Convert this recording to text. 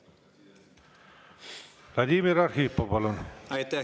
Vladimir Arhipov, palun!